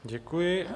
Děkuji.